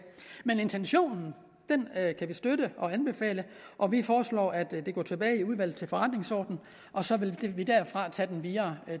men intentionen kan vi støtte og anbefale og vi foreslår at de går tilbage i udvalget for forretningsordenen og så vil vi tage den videre